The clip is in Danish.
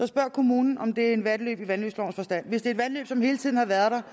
spørge kommunen om det et vandløb i vandløbslovens forstand hvis det er et vandløb som hele tiden har været der